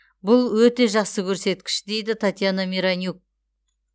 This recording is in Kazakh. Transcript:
бұл өте жақсы көрсеткіш дейді татьяна миронюк